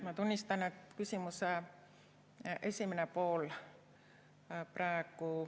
Ma tunnistan, et küsimuse esimene pool ...